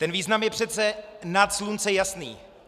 Ten význam je přece nad slunce jasnější.